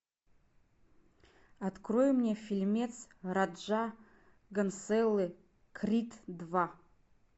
открой мне фильмец раджа госнеллы крид два